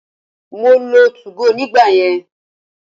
Mo lo 2go nígbà yẹn.